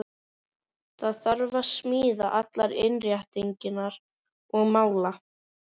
Það þarf að smíða allar innréttingar og mála.